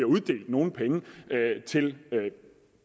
uddelt nogen penge til